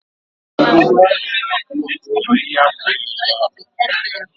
Ugbegbe ahụ ga-akụwa ma ịhapụ ya ebe ahụ